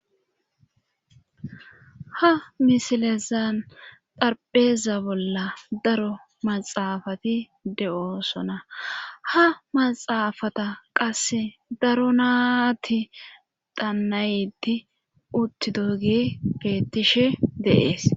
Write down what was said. Ha misilezan darpheeza bolla daro maxaafati de7oosona ha maxaafata qasse daro naati dannayti utti dogi beettishe deees